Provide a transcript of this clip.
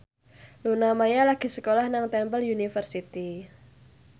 Luna Maya lagi sekolah nang Temple University